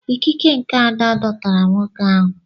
Ikike nke Ada dọtara nwoke ahụ.